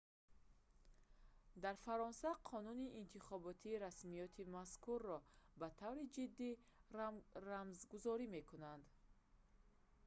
дар фаронса қонуни интихоботӣ расмиёти мазкурро ба таври ҷиддӣ рамзгузорӣ мекунад